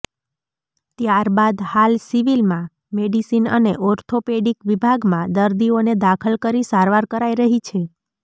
ત્યારબાદ હાલ સિવિલમાં મેડિસિન અને ઓર્થોપેડિક વિભાગમાં દર્દીઓને દાખલ કરી સારવાર કરાઈ રહી છે